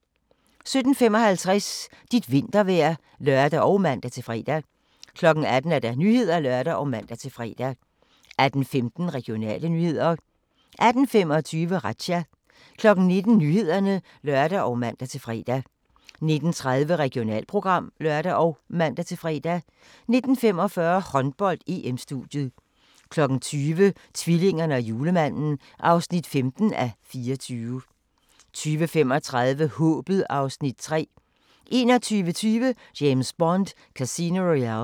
17:55: Dit vintervejr (lør og man-fre) 18:00: Nyhederne (lør og man-fre) 18:15: Regionale nyheder 18:25: Razzia 19:00: Nyhederne (lør og man-fre) 19:30: Regionalprogram (lør og man-fre) 19:45: Håndbold: EM-studiet 20:00: Tvillingerne og julemanden (15:24) 20:35: Håbet (Afs. 3) 21:20: James Bond: Casino Royale